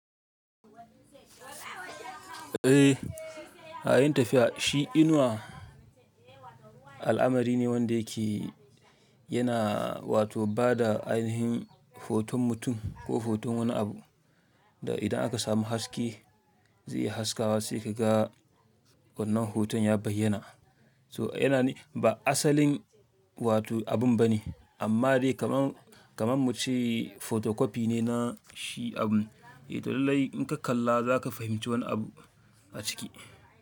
Eh, yayin tafiya shi inuwa al'amari ne wanda yake yana wato ba da ainihin hoton mutum ko hoton wani abu. Da idan aka samu haske zai Iya haskawa sai ka ga wannan hoton ya bayyana. So yana nufin ba asalin wato abun ba ne amma dai kaman, kaman mu ce photocopy ne na shi abun. Eh to lallai in ka kalla za ka fahimci wani abu a ciki.